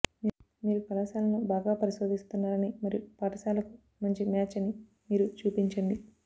మీరు కళాశాలను బాగా పరిశోధిస్తున్నారని మరియు పాఠశాలకు మంచి మ్యాచ్ అని మీరు చూపించండి